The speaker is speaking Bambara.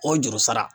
O juru sara